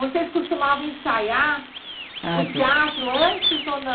Vocês costumavam ensaiar o teatro antes ou nã